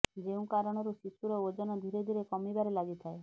ଯେଉଁ କାରଣରୁ ଶିଶୁର ଓଜନ ଧିରେ ଧିରେ କମିବାରେ ଲାଗିଥାଏ